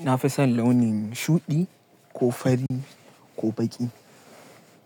Ina fison launin shuɗi ko fari ko baƙi.